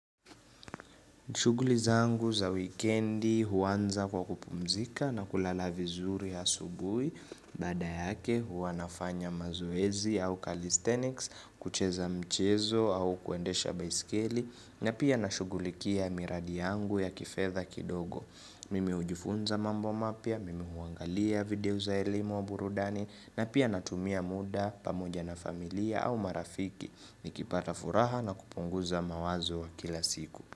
Shughulizangu za wikendi huanza kwa kupumzika na kulala vizuri asubuhi, baada yake wanafanya mazoezi au calisthenics, kucheza mchezo au kuendesha baiskeli, na pia nashugulikia miradiyangu ya kifedha kidogo. Mimi hujifunza mambo mapyav, mimi huangalia video za elimu wa burudani, na pia natumia muda pamoja na familia au marafiki, nikipata furaha na kupunguza mawazo ya kila siku.